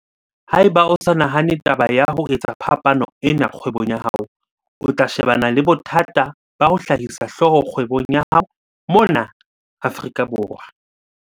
Ha eba o sa nahane taba ya ho etsa phapano ena kgwebong ya hao, o tla shebana le bothata ba ho hlahisa hlooho kgwebong ya hao mona Afrika Borwa.